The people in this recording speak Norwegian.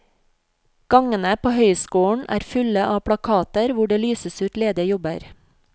Gangene på høyskolen er fulle av plakater hvor det lyses ut ledige jobber.